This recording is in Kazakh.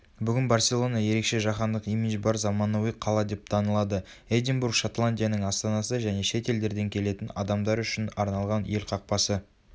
бүгін барселона ерекше жаһандық имиджі бар заманауи қала деп танылады эдинбург шотландияның астанасы және шет елдерден келетін адамдар үшін арналған ел қақпасы